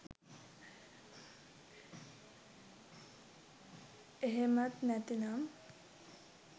එහෙමත් නැති නම්